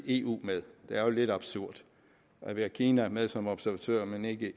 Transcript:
eu med det er lidt absurd at vi har kina med som observatør men ikke